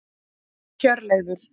Hjörleifur